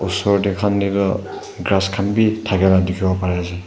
osor kan teh toh grass khan bhi thaka la dekhi bo parina ase.